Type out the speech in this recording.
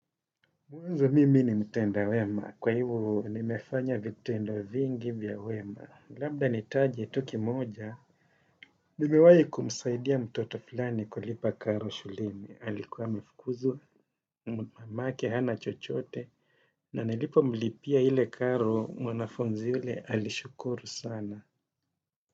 Mwenza mimi ni mtenda wema, kwa hivyo nimefanya vitendo vingi vya wema. Labda nitaje tu kimoja, nimewahi kumsaidia mtoto fulani kulipa karo shuleni. Alikuwa amefukuzwa, mamake hana chochote, na nilipo mlipia ile karo mwanafunzi yule, alishukuru sana.